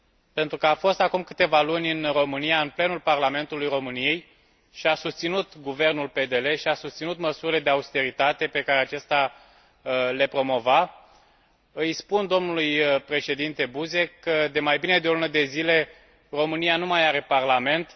Pentru că a fost acum câteva luni în România, în plenul Parlamentului României, și a susținut guvernul PDL și a susținut măsurile de austeritate pe care acesta le promova, îi spun domnului Președinte Buzek că, de mai bine de o lună de zile, România nu mai are Parlament.